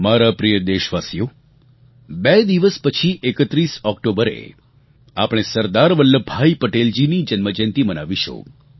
મારા પ્રિય દેશવાસીઓ બે દિવસ પછી 31 ઑક્ટોબરે આપણે સરદાર વલ્લભભાઈ પટેલજીની જન્મજયંતી મનાવીશું